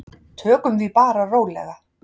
Tökum því bara rólega.